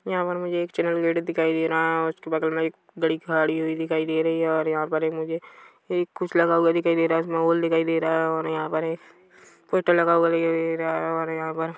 यहाँ पर मुझे एक चैनल गेट दिखाई दे रहा है और उसके बगल में गाड़ी खाड़ी हुई दिखाई दे रही है और यहाँ पर एक मुझे कुछ लगा हुआ दिखाई दे रहा है उसमे होल दिखाई दे रहा है और यहाँ पर एक फोटो लगा हुआ भी दिख रहा है और यहाँ पर --